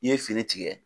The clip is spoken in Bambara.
I ye fini tigɛ